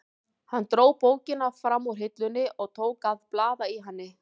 Hann dró bókina fram úr hillunni og tók að blaða í henni.